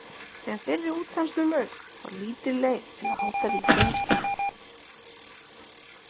Þegar þeirri útþenslu lauk var lítil leið til að halda ríkinu við.